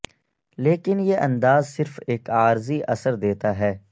لیکن یہ انداز صرف ایک عارضی اثر دیتا ہے